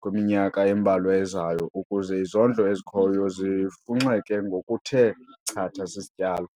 kwiminyaka embalwa ezayo ukuze izondlo ezikhoyo zifunxeke ngokuthe chatha sisityalo.